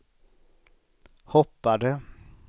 hoppade